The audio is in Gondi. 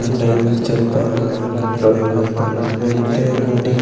ओंडय द चेपा रडवई द वन मेन्दे राडी।